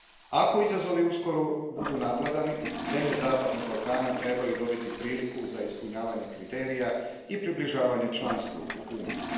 Ako izazovi uskoro budu nadvladani, zemlje zapadnog Balkana trebaju dobiti priliku za ispunjavanje kriterija i približavanje članstvu u Uniji.